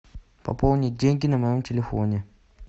пополнить деньги на моем телефоне